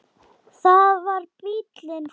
Það var bíllinn þeirra.